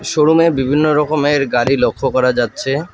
Showroom -এ বিভিন্ন রকমের গাড়ি লক্ষ করা যাচ্ছে।